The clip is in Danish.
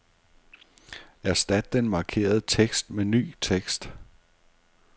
Erstat den markerede tekst med ny tekst.